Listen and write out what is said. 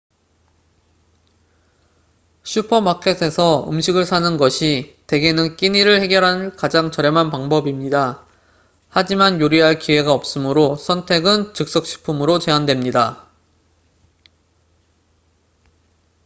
슈퍼마켓에서 음식을 사는 것이 대개는 끼니를 해결할 가장 저렴한 방법입니다 하지만 요리할 기회가 없으므로 선택은 즉석식품으로 제한됩니다